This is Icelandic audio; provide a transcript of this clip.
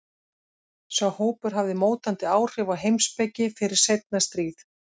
Sá hópur hafði mótandi áhrif á heimspeki fyrir seinna stríð.